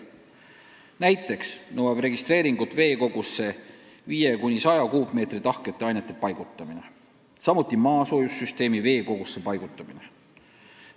Näiteks nõuab registreeringut veekogusse 5–100 kuupmeetri tahkete ainete paigutamine, samuti maasoojussüsteemi veekogusse paigutamine.